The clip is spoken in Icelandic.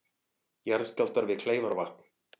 Jarðskjálftar við Kleifarvatn